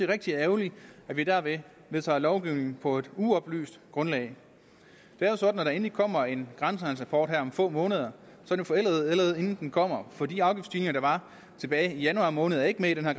rigtig ærgerligt at vi dermed vedtager lovgivning på et uoplyst grundlag det er jo sådan at når der endelig kommer en grænsehandelsrapport her om få måneder er den forældet allerede inden den kommer for de afgiftsstigninger der var tilbage i januar måned er ikke med i den her